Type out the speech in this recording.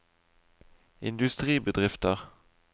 industribedrifter